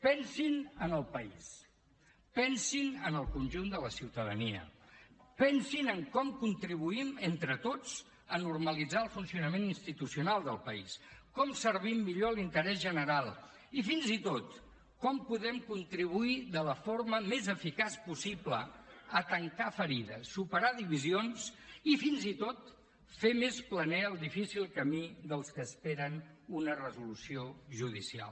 pensin en el país pensin en el conjunt de la ciutadania pensin en com contribuïm entre tots a normalitzar el funcionament institucional del país com servim millor l’interès general i fins i tot com podem contribuir de la forma més eficaç possible a tancar ferides superar divisions i fins i tot fer més planer el difícil camí dels que esperen una resolució judicial